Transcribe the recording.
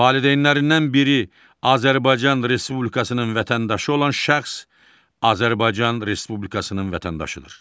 Valideynlərindən biri Azərbaycan Respublikasının vətəndaşı olan şəxs Azərbaycan Respublikasının vətəndaşıdır.